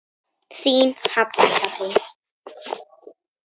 Þín Halla Katrín.